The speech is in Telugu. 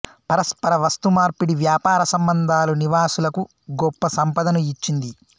పరస్పర వస్తుమార్పిడి వ్యాపార సంబంధాలు నివాసులకు గొప్ప సంపదను ఇచ్చింది